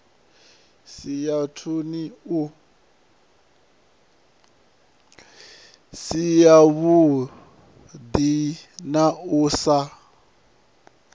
si yavhuḓi na u sa